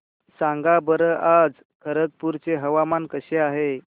सांगा बरं आज खरगपूर चे हवामान कसे आहे